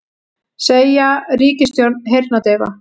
Segja ríkisstjórn heyrnardaufa